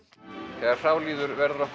þegar frá líður verður okkur